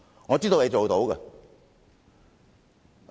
我知道你們做得到的。